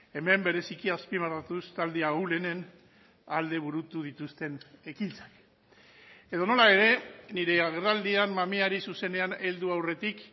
hemen bereziki azpimarratuz talde ahulenen alde burutu dituzten ekintzak edonola ere nire agerraldian mamiari zuzenean heldu aurretik